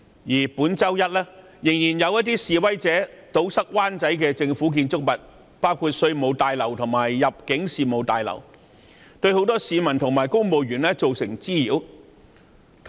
此外，本周一仍有示威者堵塞灣仔的政府建築物出入口，包括稅務大樓及入境事務大樓，對很多市民及公務員造成滋擾。